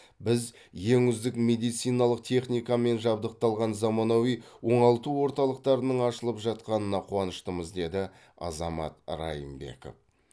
біз ең үздік медициналық техникамен жабдықталған заманауи оңалту орталықтарының ашылып жатқанына қуаныштымыз деді азамат райымбеков